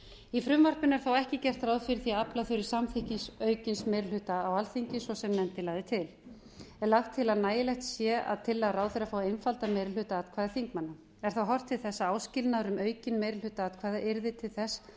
í frumvarpinu er þó ekki gert ráð fyrir því að afla þurfi samþykkis aukins meiri hluta á alþingi svo sem nefndin lagði til er lagt til að nægilegt sé að tillaga ráðherra fái einfaldan meiri hluta atkvæða þingmanna er horft til þess að áskilnaður um aukinn meiri hluta atkvæða yrði til þess